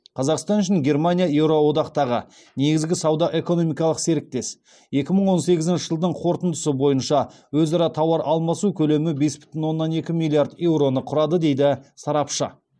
қазақстан үшін германия еуроодақтағы негізгі сауда экономикалық серіктес екі мың он сегізінші жылдың қорытындысы бойынша өзара тауар алмасу көлемі бес бүтін оннан екі миллиард еуроны құрады дейді сарапшы